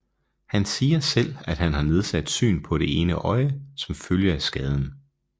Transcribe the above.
Han siger selv at han har nedsat syn på det ene øje som følge af skaden